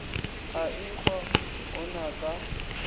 a ehwa go na ka